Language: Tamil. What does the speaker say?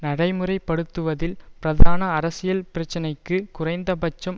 நடைமுறை படுத்துவதில் பிரதான அரசியல் பிரச்சனைக்கு குறைந்தபட்சம்